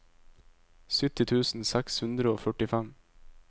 sytti tusen seks hundre og førtifem